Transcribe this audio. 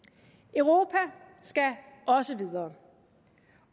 europa skal også videre